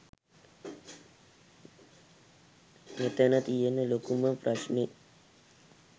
මෙතන තියෙන ලොකුම ප්‍රශ්නෙ.